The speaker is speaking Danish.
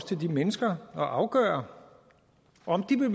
til de mennesker at afgøre om de vil